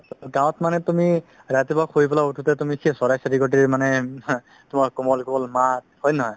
ট গাওঁত মানে তুমি ৰাতিপুৱা শুই পেলেই উথোতে তুমি সেই চৰাই চিৰিকতিৰ মানে তোমাৰ কোমল কোমল মাত হয় নে নহয়